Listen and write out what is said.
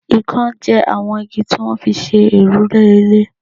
ìkan jẹ àwọn igi tí wọ́n fi ń ṣe òrùlé ilé